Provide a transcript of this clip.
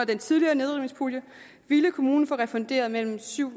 den tidligere nedrivningspulje ville kommunen få refunderet mellem syv